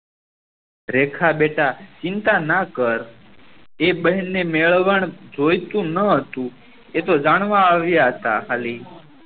રેખા બેટા ચિંતા ના કર એ બેહેન ને મેળવન જોયીતું ના હતું એ તો જાણવા આવ્યા હતા કહલી